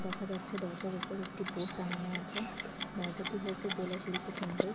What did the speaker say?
দেখা যাচ্ছে দরজার ওপরে একটি বোর্ড টানানো আছে । দরজাটি হচ্ছে জেলা শিল্প কেন্দ্রের।